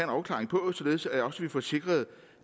afklaring på således at vi også får sikret